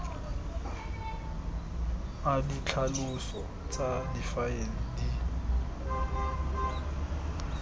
a ditlhaloso tsa difaele di